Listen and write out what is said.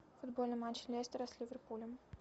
футбольный матч лестера с ливерпулем